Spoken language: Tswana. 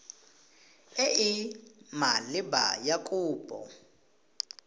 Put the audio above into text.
e e maleba ya kopo